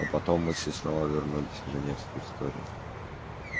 но потом мысли снова вернулись к женевской истории